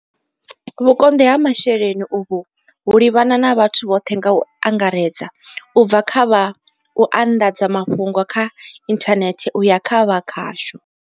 Vhukonḓi ha masheleni uvhu ho livhana na vhathu vhoṱhe nga u angaredza, u bva kha vha u anḓadza mafhungo kha inthanethe uya kha vha khasho.